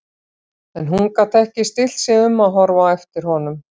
En hún gat ekki stillt sig um að horfa á eftir honum.